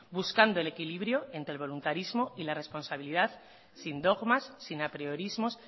buscando el equilibrio entre el voluntarismo y la responsabilidad sin dogmas sin apriorismos